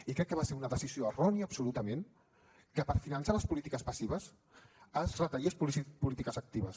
i crec que va ser una decisió errònia absolutament que per finançar les polítiques passives es retallessin polítiques actives